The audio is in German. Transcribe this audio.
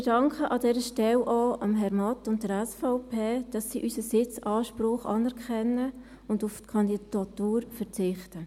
Wir danken an dieser Stelle auch Herrn Matt und der SVP, dass sie unseren Sitzanspruch anerkennen und auf die Kandidatur verzichten.